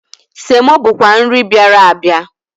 Semo bụkwa nri bịara abịa.